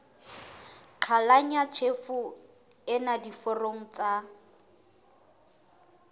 qhalanya tjhefo ena diforong tsa